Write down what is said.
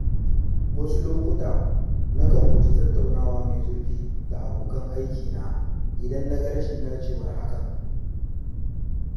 Wasu lokuta, nakan guji tattaunawa mai zurfi da abokan aikina idan na ga rashin dacewar hakan.